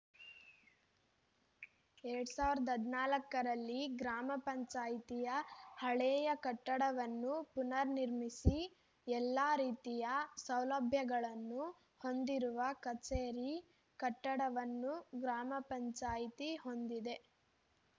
ಎರಡ್ ಸಾವಿರದ ಹದಿನಾಲ್ಕರಲ್ಲಿ ಗ್ರಾಮ ಪಂಚಾಯಿತಿಯ ಹಳೇಯ ಕಟ್ಟಡವನ್ನು ಪುನರ್‌ ನಿರ್ಮಿಸಿ ಎಲ್ಲ ರೀತಿಯ ಸೌಲಭ್ಯಗಳನ್ನು ಹೊಂದಿರುವ ಕಚೇರಿ ಕಟ್ಟಡವನ್ನು ಗ್ರಾಮ ಪಂಚಾಯಿತಿ ಹೊಂದಿದೆ